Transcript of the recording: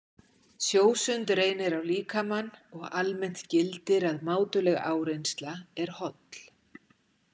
Sjósund reynir á líkamann og almennt gildir að mátuleg áreynsla er holl.